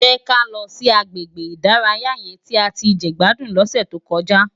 Jè ká lò si àgbégbé idàráyá yèn ti á ti jegbádún lòsè tókòjá